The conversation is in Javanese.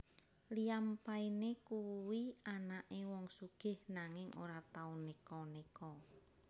Liam Payne kuwi anake wong sugih nanging ora tau neko neko